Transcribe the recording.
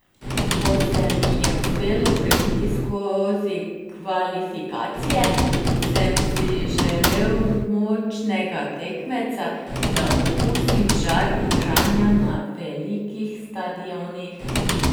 Ko se mi je uspelo prebiti skozi kvalifikacije, sem si želel močnega tekmeca, da okusim žar igranja na velikih stadionih.